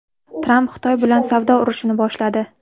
Tramp Xitoy bilan savdo urushini boshladi.